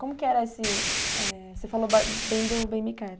Como que era esse, eh... Você falou ba bem do Bem me Quer.